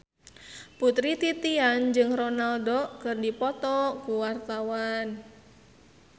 Putri Titian jeung Ronaldo keur dipoto ku wartawan